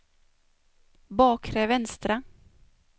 bakre vänstra